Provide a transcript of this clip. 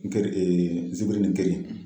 N keri n ziri ni te.